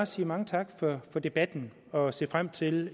sige mange tak for debatten og se frem til